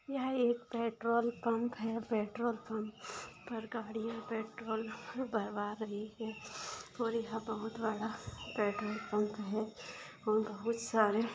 यह एक petrol pump है पेट्रोल पम्प पर गाड़िया पेट्रोल भरवा रही है और यहा बहुत बड़ा पेट्रोल पम्प है और बहुत सारे--